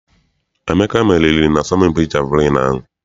Emeka meriri na-asọmpi jeviliini ahụ.